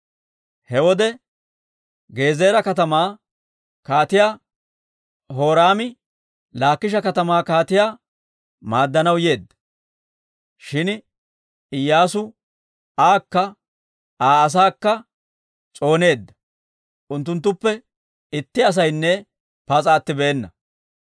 He wode, Gezeera katamaa kaatiyaa Horaami, Laakisha katamaa kaatiyaa maaddanaw yeedda; shin Iyyaasu aakka Aa asaakka s'ooneedda; unttunttuppe itti asaynne pas'a attibeena.